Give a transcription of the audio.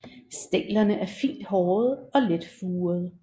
Stænglerne er fint hårede og let furede